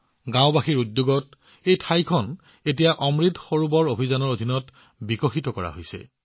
গাওঁবাসীৰ উদ্যোগত এই ঠাইখন এতিয়া অমৃত সৰোবৰ অভিযানৰ অধীনত বিকশিত কৰা হৈছে